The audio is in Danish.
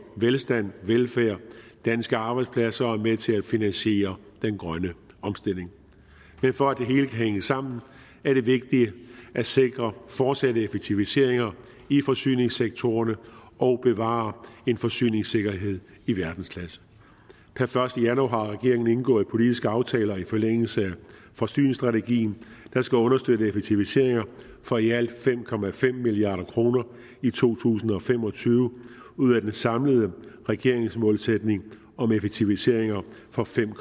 velstand velfærd danske arbejdspladser er med til at finansiere den grønne omstilling for at det hele kan hænge sammen er det vigtigt at sikre fortsatte effektiviseringer i forsyningssektorerne og bevare en forsyningssikkerhed i verdensklasse per første januar har regeringen indgået politiske aftaler i forlængelse af forsyningsstrategien der skal understøtte effektiviseringer for i alt fem milliard kroner i to tusind og fem og tyve ud af den samlede regeringsmålsætning om effektiviseringer for fem